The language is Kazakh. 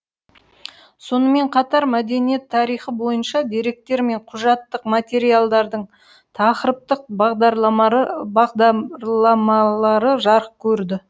сонымен қатар мәдениет тарихы бойынша деректер мен құжаттық материалдардың тақырыптық бағдарлармалары жарық көрді